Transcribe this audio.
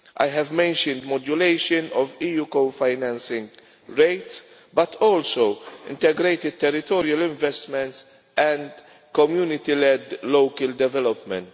I have mentioned modulation of EU co financing rates but also integrated territorial investments and community led local development.